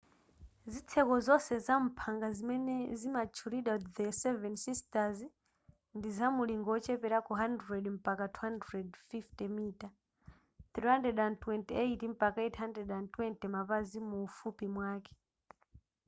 zitseko zonse zamphanga zimene zimatchulidwa the seven sisters” ndi zamulingo ocheperako 100 mpaka 250 mita 328 mpaka 820 mapazi muufupi mwake